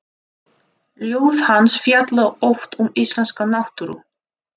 Ljóð hans fjalla oft um íslenska náttúru.